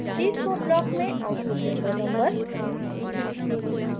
cscope block में output window number